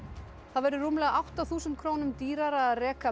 það verður rúmlega átta þúsund krónum dýrara að reka